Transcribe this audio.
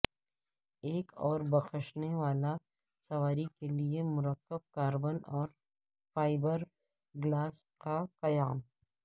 ایک اور بخشنے والا سواری کے لئے مرکب کاربن اور فائبرگلاس کا قیام